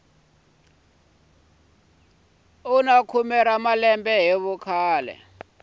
wa malembe hi vukhale swi